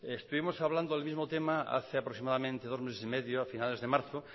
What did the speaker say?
estuvimos hablando el mismo tema hace aproximadamente dos meses y medio a finales de marzo